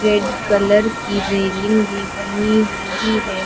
Red colour की railing भी बनी हुई है।